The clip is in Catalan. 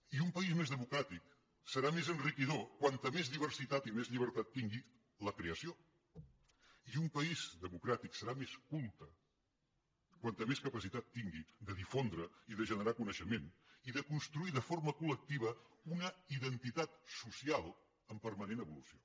i un país més democràtic serà més enriquidor com més diversitat i més llibertat tingui la creació i un país democràtic serà més culte com més capacitat tingui de difondre i de generar coneixement i de construir de forma col·lectiva una identitat social en permanent evolució